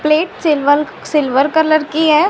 Plate silver silver colour की है।